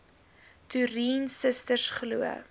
toerien susters glo